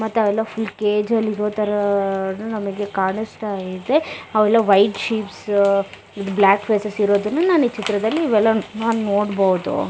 ಮತ್ತೆ ಅವೆಲ್ಲಾ full cage ಅಲ್ಲಿ ಇರೋತರಾ ನಮಗೆ ಕಾಣಸ್ತಾ ಇದೆ ಅವೆಲ್ಲಾ white sheeps with black faces ಇರೋದನ್ನು ನಾವು ಈ ಚಿತ್ರದಲ್ಲಿ ಇವೆಲ್ಲ ನಾನ್ ನೋಡ್ಬೋದು.